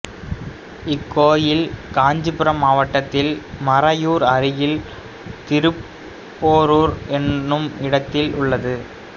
இக்கோயில் காஞ்சீபுரம் மாவட்டத்தில் மறையூர் அருகில் திருப்போரூர் என்னுமிடத்தில் உள்ளது